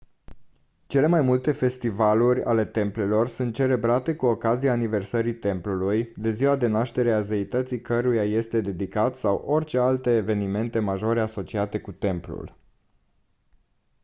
cele mai multe festivaluri ale templelor sunt celebrate cu ocazia aniversării templului de ziua de naștere a zeității căruia îi este dedicat sau orice alte evenimente majore asociate cu templul